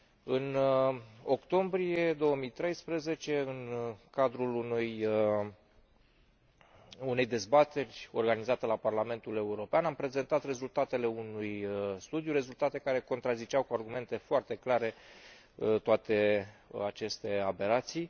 În octombrie 2013, în cadrul unei dezbateri organizate la Parlamentul European, am prezentat rezultatele unui studiu, rezultate care contraziceau cu argumente foarte clare toate aceste aberații.